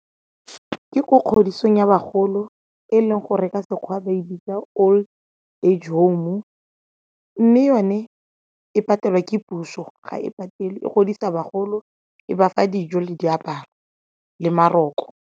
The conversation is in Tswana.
Ke ko kgodisong ya bagolo e leng go reka sekgwa ba e bitsa old age home-u mme yone e patelwa ke puso, ga e patele e godisa bagolo, e bafa dijo le diaparo le maroko.